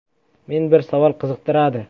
- Meni bir savol qiziqtiradi.